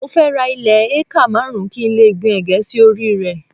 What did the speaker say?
Mo fẹ́ ra ilẹ̀ ékà márùn-ún kí n lè gbìn ègé sí orí rẹ̀